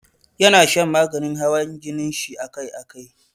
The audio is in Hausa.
Ya na shan maganin hawan jinin shi akai akai.